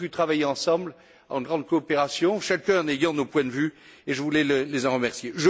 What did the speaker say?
Nous avons pu travailler ensemble en grande coopération, chacun en ayant ses points de vue, et je voulais les en remercier.